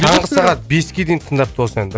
таңғы сағат беске дейін тыңдапты осы әнді